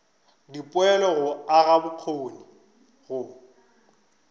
dipoelo go aga bokgoni go